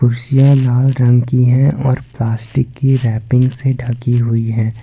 कुर्सियां लाल रंग की हैं और यह प्लास्टिक की रैपिंग से ढकी हुई हैं।